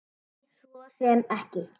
Nei, svo sem ekki.